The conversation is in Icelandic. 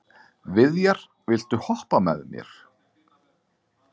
Viðjar, viltu hoppa með mér?